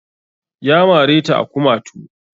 Ya mare ta a kumatu